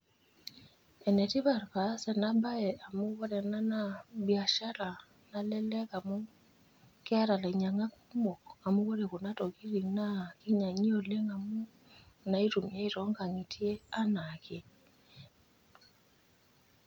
Ene tipat paas ena bae amu ore ena naa biashara nalelek amu keeta ilainyiangak kumok amu ore kuna tokitin naa kinyiangi oleng amu inaitumiay toonkangitie anaake.